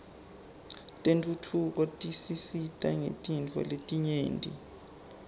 tentfutfuko tisisita ngetintfo letinyenti